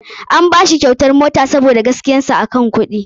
An bashi kyautar mota sabida gaskiyar sa a aikin kuɗi.